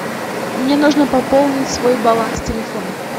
мне нужно пополнить свой баланс телефона